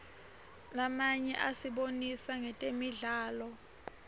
lamanye asibonisa ngetemidlalo